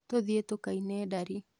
Tũthiĩ tukaine ndari